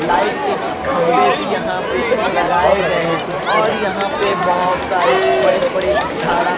light के खंबे भी यहाँ पे लगाए गए हैं और यहाँ पे बहुत सारे बड़े बड़े झाड़ा --